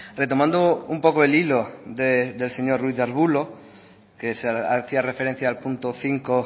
retomando un poco el hilo del señor ruiz de arbulo que hacía referencia al punto cinco